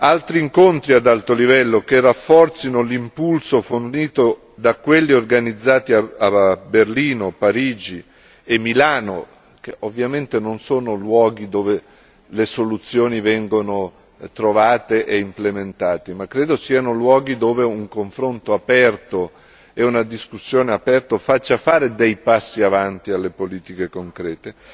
Altri incontri ad alto livello che rafforzino l'impulso lanciato da quelli organizzati a Berlino, Parigi e Milano, che ovviamente non sono luoghi dove le soluzioni vengono trovate e implementate, ma credo siano luoghi dove un confronto aperto e una discussione aperta faccia fare dei passi avanti alle politiche concrete.